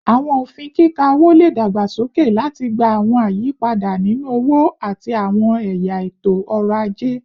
Awọn ofin kika owo le dagbasoke lati gba awọn ayipada ninu owo ati awọn ẹya eto-ọrọ aje